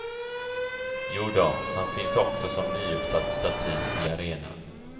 Jodå, han finns också som nyuppsatt staty i arenan.